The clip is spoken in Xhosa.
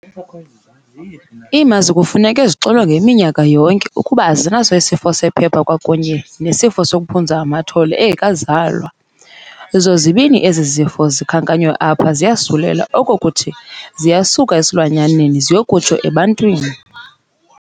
Iimazi kufuneka zixilongwe iminyaka yonke ukuba azinaso isifo sephepha kwakunye nesifo sokuphunza amathole engekazalwa. Zozibini ezi zifo zikhankanywe apha ziyasulela oko kukuthi siyasuka esilwanyaneni ziyokutsho ebantwini.